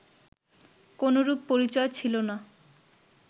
কোনরূপ পরিচয় ছিল না